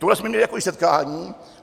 Tuhle jsme měli takové setkání.